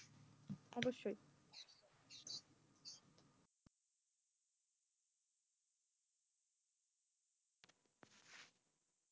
অবশ্যই।